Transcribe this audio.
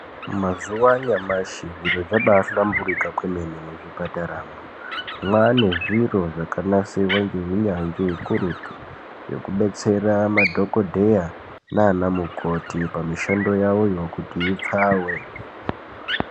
Mazuva anyamashi zviro zvabahlamburuka kwemene muzvipataramwo, mwane zviro zvakanasirwa ngeunyanzvi ukurutu, zvekubetsera madhokodheya nana mukoti pamishando yawoyo kuti ipfawe.